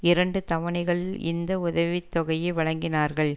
இரண்டு தவணைகளில் இந்த உதவி தொகையை வழங்கினார்கள்